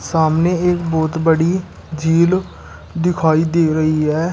सामने एक बहुत बड़ी झील दिखाई दे रही है।